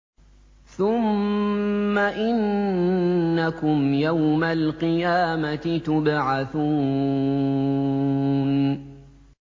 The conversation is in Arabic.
ثُمَّ إِنَّكُمْ يَوْمَ الْقِيَامَةِ تُبْعَثُونَ